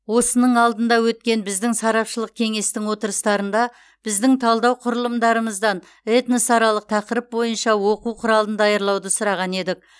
осының алдында өткен біздің сарапшылық кеңестің отырыстарында біздің талдау құрылымдарымыздан этносаралық тақырып бойынша оқу құралын даярлауды сұраған едік